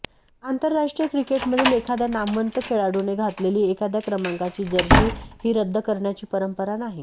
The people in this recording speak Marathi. आंतरराष्ट्रीय क्रिकेटमधील एखाद्या नामवंत खेळाडूने घातलेली एखाद्या क्रमांकाची जर्सी ही रद्द करण्याची परंपरा नाही